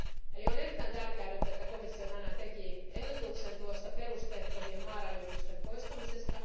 Eli on erittäin tärkeää nyt, että komissio tänään teki ehdotuksen tuosta perusteettomien maarajoitusten poistamisesta.